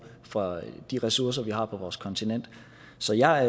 for de ressourcer vi har på vores kontinent så jeg